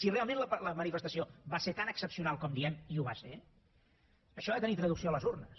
si realment la manifestació va ser tan excepcional com diem i ho va ser això ha de tenir traducció a les urnes